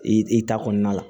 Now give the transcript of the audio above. I i ta kɔnɔna la